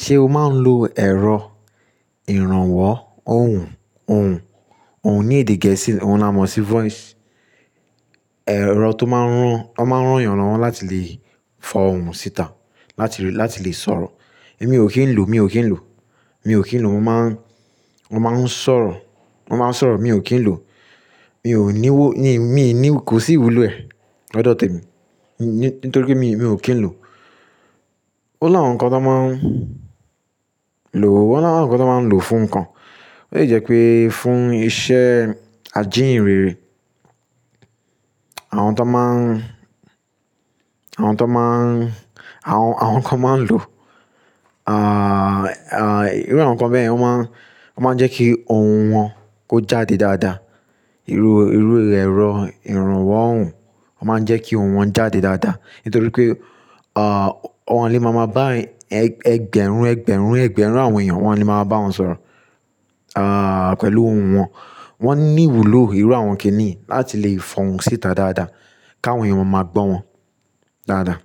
Ṣe o máa ń lo ẹ̀rọ ìrànwọ́ ohùn? Ohùn, ohùn ní èdè gẹ̀ẹ́sì, òun la mọ̀ sí voice. Ẹ̀rọ tó máa ń rán, ó máa ń rán èèyàn rán láti lè fọ ohùn síta, láti lè, láti lè sọ̀rọ̀. Èmi ò kí ń lò, mi ò kí ń lò, mi ò kí ń lò. Mo máa ń, mo máa ń sọ̀rọ̀, mo máa ń sọ̀rọ̀, mi ò kí ń lò. Mi ò ní wó, mi, mi ò ní, kò sí ìwúlò ẹ̀, lọ́dọ̀ te mi, ní, nítorí pé mi, mi ò kí ń lò. Ó lá àwọn nǹkan tó máa ń lò, ó lá àwọn nǹkan tó máa ń lò fún nǹkan. Ó yẹ pé fún iṣẹ́ ajíhìnrere, àwọn tó máa ń, àwọn tó máa ń, àwọn, àwọn nǹkan máa ń lò, àà, àí, irú àwọn nǹkan bẹ́ẹ̀, wọ́n máa ń, wọ́n máa ń jẹ́ kí ohùn wọn kó jáde dáadáa. Irú, irú ẹ̀rọ ìrànwọ́ ohùn, wọ́n máa ń jẹ́ kí ohùn wọn jáde dáadáa. Nítorí pé, àà, wọ́n lè máa mọ bá ẹgbẹ̀rún, ẹgbẹ̀rún, ẹgbẹ̀rún àwọn èèyàn, wọ́n lè máa bá wọn sọ̀rọ̀, àà, pẹ̀lú ohùn wọn. Wọ́n ní ìwúlò ìrú àwọn kìíní láti lè fọ ohùn síta dáadáa, káwọn èèyàn máa gbọ́ wọn dáadáa.